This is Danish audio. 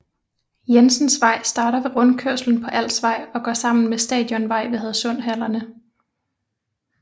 Jensens Vej starter ved rundkørslen på Alsvej og går sammen med Stadionvej ved Hadsund Hallerne